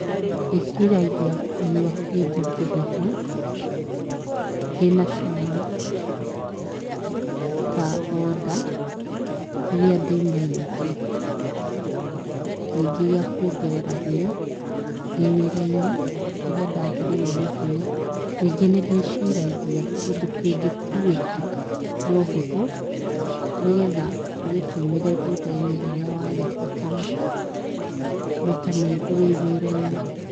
Ndĩciragia kũnyua kĩndũ kĩhehu kĩnacama ta thoda rĩrĩa ndĩ mũnyotu, rĩngĩ gĩa kwongerera hinya ndĩ wĩra-inĩ rĩrĩa ndathirĩrwo nĩ hinya. Rĩngĩ nĩndĩciragia kĩndũ kĩngĩkuĩka na ũhũthũ nĩgetha ũgĩtũmĩre thutha-inĩ rĩrĩa wagĩbatara maita maingĩ wĩ wĩra-inĩ.